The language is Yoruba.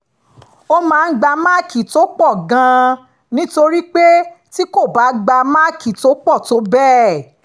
ó máa ń gba máàkì tó pọ̀ gan-an nítorí pé tí kò bá gba máàkì tó pọ̀ tó bẹ́ẹ̀